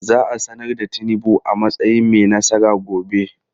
Za a sanar da Tinubu a matsayin mai nasara gobe.